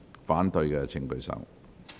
反對的請舉手。